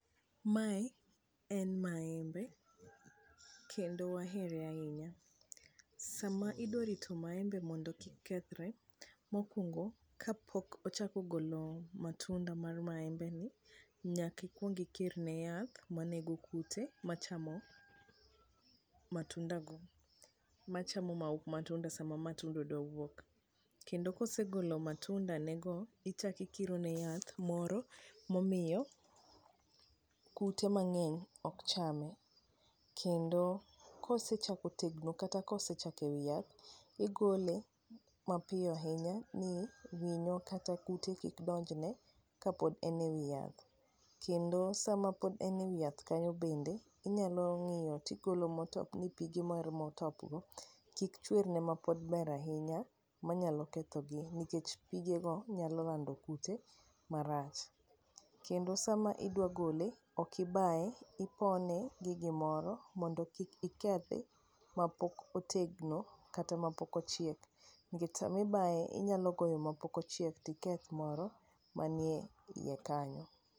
mae en maembe kendo ahere ahinya ,sama idwa rito maembe mondo kik kethre, mokuongo kapok ochako golo matunda mar maembe ni nyaki kuongi kirne yath manego kute machamo matunda go ,machamo matunda sama matunda dwa wuok, kendo kosegolo matunda ne go ichako ikiro ne yath moro momiyo kute mang'eny ok chame kendo ,kendo kosechako tegno kata kosechiek ewi yath ,igole mapiyo ahinya ni winyo kata kute kik donjne kapok en ewi yath ,kendo sama pod en ewi yath kanyo bende ,inyalo ng'iyo tigolo motop ni pige mar motop go kik chwer ne maber ahinya nikech pige go nyalo lando kute marach, kendo sama idwa gole ok ibaye ipone gi gimoro mondo kik ikethi mapok otegno kata mapok ochiek ,nikech sami baye inyalo goyo mapok ochiek tiketh moro manie iye kanyo.